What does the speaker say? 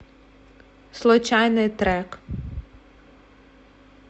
случайный трек